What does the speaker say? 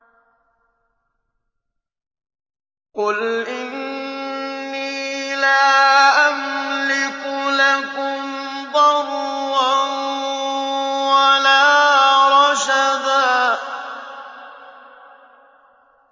قُلْ إِنِّي لَا أَمْلِكُ لَكُمْ ضَرًّا وَلَا رَشَدًا